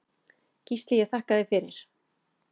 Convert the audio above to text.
Gísli ég þakka þér fyrir.